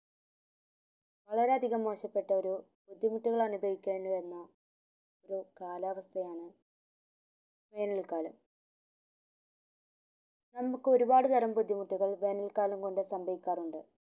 വളരെ അധികം മോശപ്പെട്ടൊരു ബുദ്ധിമുട്ടുകൾ അനുഭവിക്കേണ്ടി വരുന്ന ഒരു കാലാവസ്ഥയാണ് വേനൽ കാലം നമുക്ക് ഒരുപാട്മുതരം ബുദ്ധിമുട്ടുകൾ വേനൽ കളം കൊണ്ട് സംബയികാറുണ്ട്